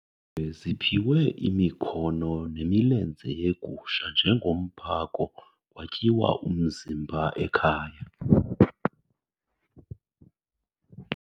Ziphiwe imikhono nemilenze yegusha njengomphako kwatyiwa umzimba ekhaya.